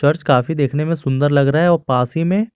फर्श काफी देखने में सुंदर लग रहा है और पास ही में--